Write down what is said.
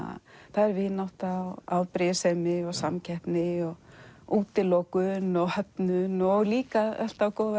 það er vinátta afbrýðisemi og samkeppni og útilokun og höfnun og líka alltaf góða